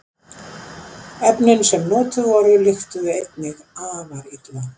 Efnin sem notuð voru lyktuðu einnig afar illa.